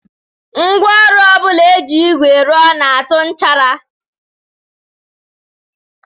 Ngwaọrụ ọ bụla e ji ígwè rụọ na-atụ nchara